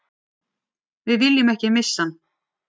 Við viljum ekki missa hann